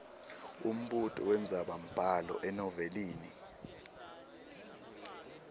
umbuto wendzabambhalo enovelini